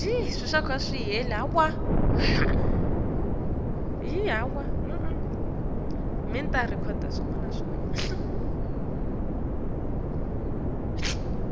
emakhasi mende siwaphe inkhululeke